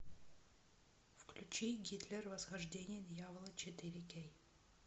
включи гитлер восхождение дьявола четыре кей